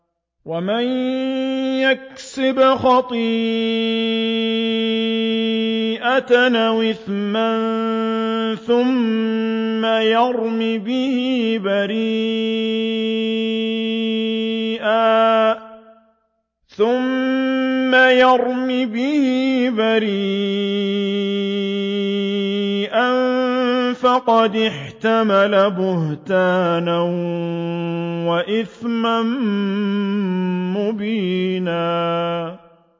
وَمَن يَكْسِبْ خَطِيئَةً أَوْ إِثْمًا ثُمَّ يَرْمِ بِهِ بَرِيئًا فَقَدِ احْتَمَلَ بُهْتَانًا وَإِثْمًا مُّبِينًا